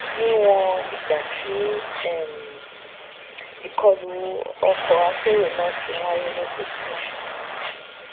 níwọn ìgbà tí um ìkọlù ọkọakérò náà ti ń wáyé lójoojúmọ